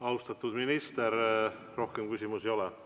Austatud minister, rohkem küsimusi ei ole.